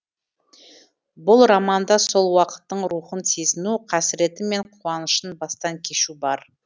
бұл романда сол уақыттың рухын сезіну қасіреті мен қуанышын бастан кешу бар